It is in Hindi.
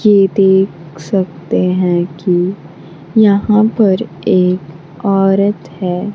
यह देख सकते हैं कि यहां पर एक औरत है।